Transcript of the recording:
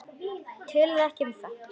Töluðu ekki um það.